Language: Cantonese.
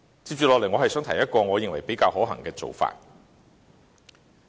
接着，我想提出一個我認為比較可行的做法。